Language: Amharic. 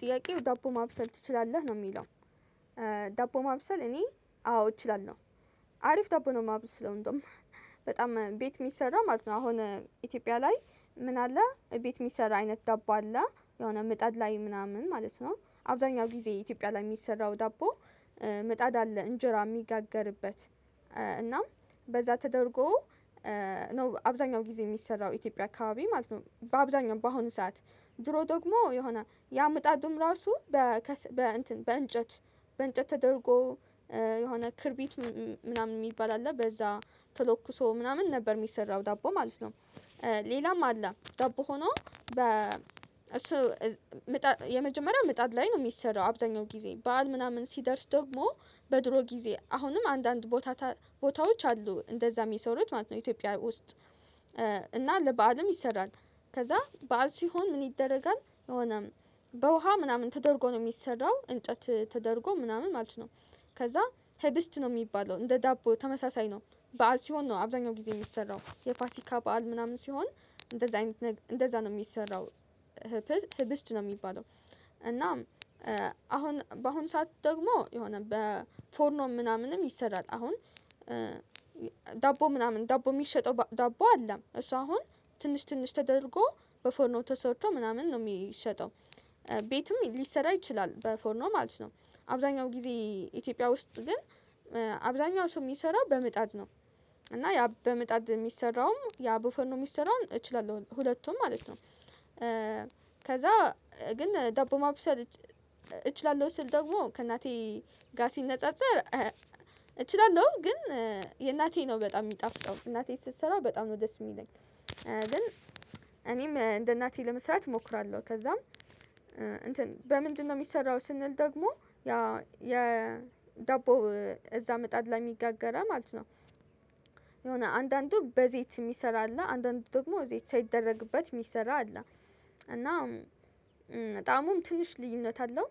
ጥያቄው ዳቦ ማብሰል ትችላለህ ነው የሚለው? ዳቦ ማብሰል እኔ አዎ እችላለው። አሪፍ ዳቦ ነው የማብስለው እንደውም በጣም ቤት የሚሰራ ማለት ነው። አሁን ኢትዮጵያ ላይ ምን አለ እቤት የሚሰራ አይነት ዳቦ አለ የሆነ ምጣድ ላይ ምናምን ማለት ነው። አብዛኛው ጊዜ ኢትዮጵያ ላይ የሚሰራው ዳቦ። መጣድ አለ እንጀራ የሚጋገርበት እናም በዛ ተደርጎ ነው አብዛኛው ጊዜ የሚሰራው ኢትዮጵያ አካባቢ ማለት ነው። በአብዛኛው በአሁኑ ሰዓት ድሮ ደግሞ የሆነ ያመጣዱም ራሱ በ እንትን በ እንጨት በእንጨት ተደርጎ የሆነ ክብሪት ምናምን የሚባል አለ በዛ ተለክሶ ምናምን ነበር የሚሰራው ዳቦ ማለት ነው። ሌላም አለ ዳቦ ሆኖ በ እሱ ምጣድ የመጀመሪያ ምጣድ ላይ ነው የሚሰራው አብዛኛው ጊዜ በዓል ምናምን ሲደርስ ደግሞ በድሮ ጊዜ አሁንም አንዳንድ ቦታ ቦታዎች አሉ እንደዛም ሚሰሩት ማለት ነው ኢትዮጵያ ውስጥ። እና ለበአልም ይሰራል። ከዛ በዓል ሲሆን ምን ይደረጋል የሆነ በውሃ ምናምን ተደርጎ ነው የሚሰራው እንጨት ተደርጎ ምናምን ማለት ነው። ከዛ ህብስት ነው የሚባለው እንደ ዳቦ ተመሳሳይ ነው በዓል ሲሆን ነው አብዛኛው ጊዜ የሚሰራው የፋሲካ በዓል ምናምን ሲሆን እንደዛ አይነት ነገ እንደዛ ነው የሚሰራው። ህብስት ነው የሚባለው እና አሁን በአሁን ሰዓት ደግሞ የሆነ በ ፎርኖ ምናምንም ይሰራል። አሁን ዳቦ ምናምን ዳቦ የሚሸጠው ዳቦ አለ እሷ አሁን ትንሽ ትንሽ ተደርጎ በፎርኖ ተሰርቶ ምናምን ነው የሚሸጠው። ቤትም ሊሰራ ይችላል በፎርኖ ማለት ነው። አብዛኛው ጊዜ ኢትዮጵያ ውስጥ ግን አብዛኛው ሰው የሚሰራው በምጣድ ነው። እና ያ በምጣድ የሚሰራውም ያ በፎርኖ የሚሰራውም እችላለሁ ሁለቱም ማለት ነው። ከዛ ግን ዳቦ ማብሰል እችላለሁ ስል ደግሞ ከእናቴ ጋር ሲነጻጸር እችላለሁ ግን የእናቴ ነው በጣም የሚጣፍጠው እናቴ ስትሰራ በጣም ነው ደስ የሚለኝ። ግን እኔም እንደ እናቴ ለመስራት እሞክራለሁ። ከዛም እንትን በምንድነው የሚሰራው ስንል ደግሞ ያ የዳቦ እዛ ምጣድ ላይ የሚጋገረ ማለት ነው። የሆነ አንዳንዱ በዘይት የሚሰራ አለ አንዳንዱ ደግሞ ዘይት ሳይደረግበት የሚሰራ አለ። እና በጣምም ትንሽ ልዩነት አለው።